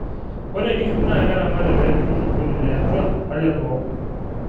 ore inkishu naa keramati peepiki osokoni le atua oo leboo